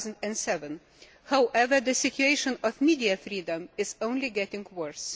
2007. However, the situation of media freedom is only getting worse.